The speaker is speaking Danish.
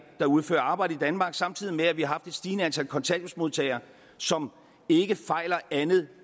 der udfører arbejde i danmark samtidig med at vi har det stigende antal kontanthjælpsmodtagere som ikke fejler andet